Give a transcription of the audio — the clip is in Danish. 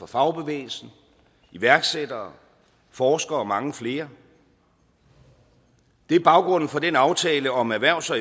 fagbevægelse iværksættere og forskere og mange flere det er baggrunden for den aftale om erhvervs og